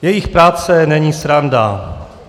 Jejich práce není sranda.